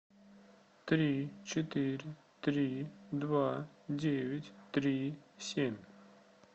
три четыре три два девять три семь